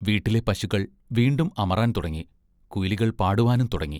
വീട്ടിലെ പശുക്കൾ വീണ്ടും അമറാൻ തുടങ്ങി, കുയിലുകൾ പാടുവാനും തുടങ്ങി.